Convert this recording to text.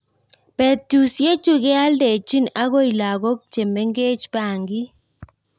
Betusiechu kealdachini akoi lakok chemengech bangik